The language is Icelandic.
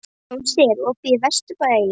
Jónsi, er opið í Vesturbæjarís?